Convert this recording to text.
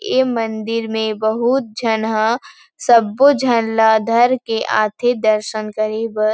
ऐ मंदिर में बहुत झन ह सबो झन ला धर के आ थे दर्शन करे बर।